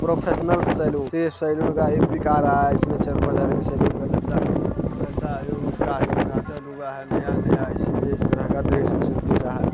Professional salon सिर्फ salon का एक पिक आ रहा है इसमें चार-पांच आदमी सैलून का लगता है लगता है आज उ उसका उद्घाटन हुआ है नया-नया इसलिए इस तरह का दृश्य उसको दिख रहा है।